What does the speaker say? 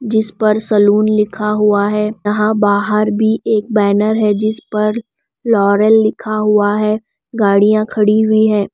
जिस पर सलून लिखा हुआ है यहां बाहर भी एक बैनर है जिस पर फ्लोरल लिखा हुआ है गाड़ियां खड़ी हुई हैं।